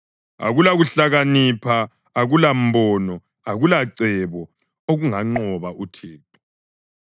Akulakuhlakanipha, akulambono, akulacebo okunganqoba uThixo.